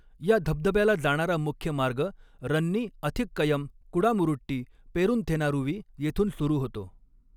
या धबधब्याला जाणारा मुख्य मार्ग रन्नी अथिक्कयम कुडामुरुट्टी पेरून्थेनारूवी येथून सुरू होतो.